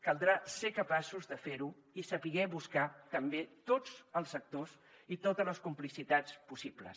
caldrà ser capaços de fer ho i saber buscar també tots els actors i totes les complicitats possibles